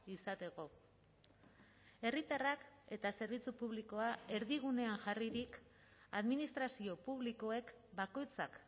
izateko herritarrak eta zerbitzu publikoa erdigunean jarririk administrazio publikoek bakoitzak